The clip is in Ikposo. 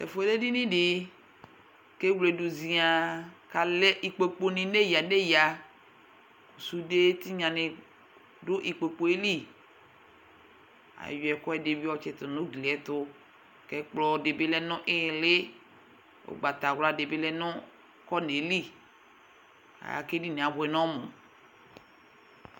Tɛfuɛ lɛ edini di , kewledu ziann, kalɛ ikpoku ni neya neyasude tinya ni dʋ ikpokpue liAyɔ ɛkuɛdi bi yɔtsitu nugliɛtuKɛkplɔ dibi lɛ nʋ ililiUgbatawla dibi lɛ nʋ kɔnɛli aa kedinie abuɛnɔmu